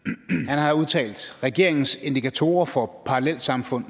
har udtalt regeringens indikatorer for parallelsamfund